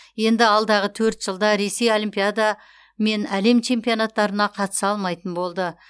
енді алдағы төрт жылда ресей олимпиада мен әлем чемпионаттарына қатыса алмайтын болды